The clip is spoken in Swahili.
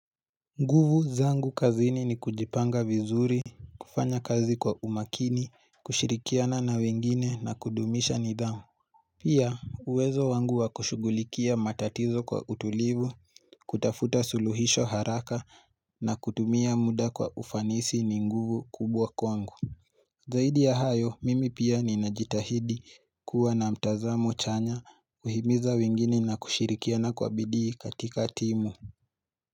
Nguvu zangu kazini ni kujipanga vizuri, kufanya kazi kwa umakini, kushirikiana na wengine na kudumisha nidhamu Pia uwezo wangu wa kushughulikia matatizo kwa utulivu, kutafuta suluhisho haraka na kutumia muda kwa ufanisi ni nguvu kubwa kwangu Zaidi ya hayo, mimi pia ninajitahidi kuwa na mtazamo chanya, kuhimiza wengine na kushirikiana kwa bidii katika timu.